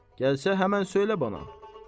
Gəlsə həmin söylə mənə.